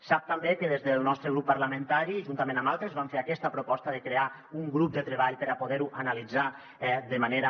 sap també que des del nostre grup parlamentari juntament amb altres vam fer aquesta proposta de crear un grup de treball per a poder ho analitzar de manera